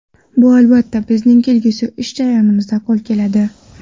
Bu, albatta, bizning kelgusi ish jarayonlarimizda qo‘l keladi”.